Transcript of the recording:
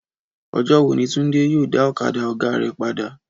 Ọjọ́ wo ni Túndé yóò dá ọ̀kadà ọ̀gá rẹ̀ padà?